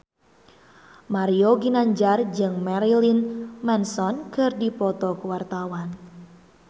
Mario Ginanjar jeung Marilyn Manson keur dipoto ku wartawan